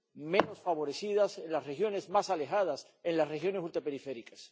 menos favorecidas, en las regiones más alejadas, en las regiones ultraperiféricas.